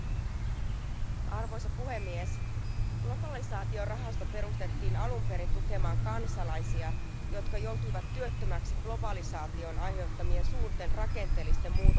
Arvoisa puhemies, globalisaatiorahasto perustettiin alun perin tukemaan kansalaisia, jotka joutuivat työttömäksi globalisaation aiheuttamien suurten rakenteellisten muutoksien vuoksi.